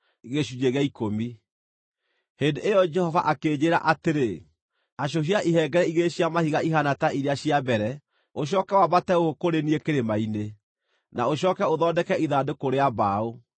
Hĩndĩ ĩyo Jehova akĩnjĩĩra atĩrĩ, “Acũhia ihengere igĩrĩ cia mahiga ihaana ta iria cia mbere, ũcooke wambate gũkũ kũrĩ niĩ kĩrĩma-inĩ. Na ũcooke ũthondeke ithandũkũ rĩa mbaũ.